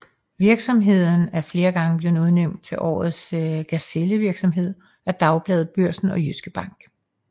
Virksomheden er flere gange blevet udnævnt til årets gazellevirksomhed af Dagbladet Børsen og Jyske Bank